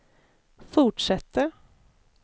fortsätter